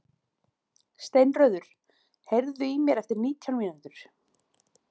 Steinröður, heyrðu í mér eftir nítján mínútur.